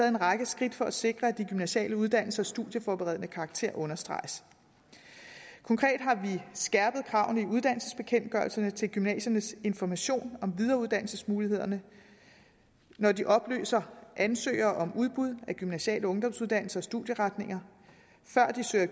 en række skridt for at sikre at de gymnasiale uddannelsers studieforberedende karakter understreges konkret har vi skærpet kravene i uddannelsesbekendtgørelserne til gymnasiernes information om videreuddannelsesmulighederne når de oplyser ansøgere om udbud af gymnasiale ungdomsuddannelser og studieretninger og før de søger